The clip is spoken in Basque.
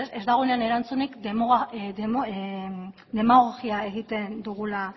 ez dagoenean erantzunik demagogia egiten dugula